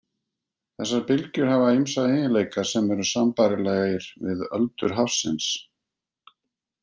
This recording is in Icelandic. Þessar bylgjur hafa ýmsa eiginleika sem eru sambærilegir við öldur hafsins.